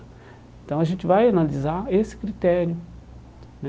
Então a gente vai analisar esse critério né.